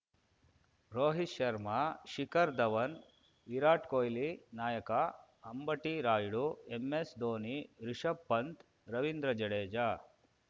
Rohit Sharma Shikhar Dhawan Virat ಕೊಹ್ಲಿನಾಯಕ Ambati Rayudu MS Dhoni Rishabh Pant Ravindra Jadeja